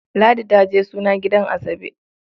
Ladi ta je suna gidan Asabe.